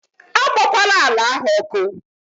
A gbakwala àlà áhù ọkụ!